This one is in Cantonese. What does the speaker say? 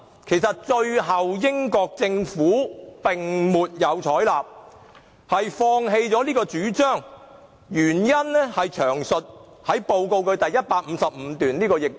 其實，英國政府最終未有採納有關建議，原因詳述於有關報告第155段。